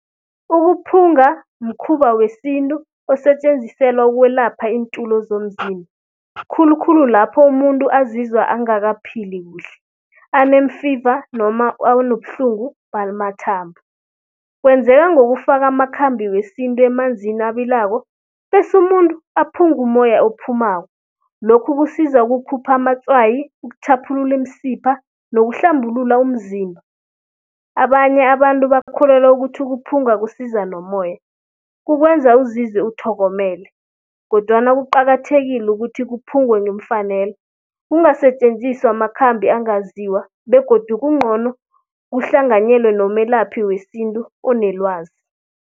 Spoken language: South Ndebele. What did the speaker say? Ukuphungula, mkhuba wesintu osetjenziselwa ukwelapha iintulo zomzimba. Khulukhulu lapho umuntu azizwa angakaphili kuhle, aneemfiva noma anobuhlungu bamathambo. Kwenzeka ngokufaka amakhambi wesintu emanzini abilako, bese umuntu aphungumoya ophumako. Lokhu kusiza ukukhupha amatswayi, ukutjhaphulula iimsipha nokuhlambulula umzimba. Abanye abantu bakholelwa ukuthi ukuphunga kusiza nomoya, kukwenza uzizwe uthokomele. Kodwana kuqakathekile ukuthi kuphungwe ngeemfanelo, kungasetjenziswa amakhambi angaziwa begodu kungcono kuhlanganyelwe nomelaphi wesintu onelwazi.